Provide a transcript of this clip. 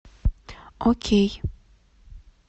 окей